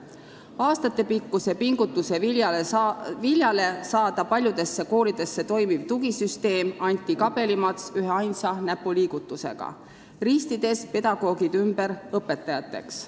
Aastatepikkuse pingutuse viljale saada paljudesse koolidesse toimiv tugisüsteem anti kabelimats üheainsa näpuliigutusega, ristides pedagoogid ümber õpetajateks.